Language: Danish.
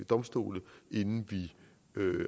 domstol inden vi